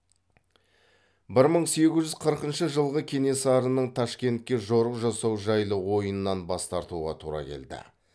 бір мың сегіз жүз қырқыншы жылғы кенесарының ташкентке жорық жасау жайлы ойынан бас тартуға тура келді